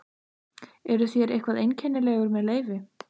Eruð þér eitthvað einkennilegur með leyfi?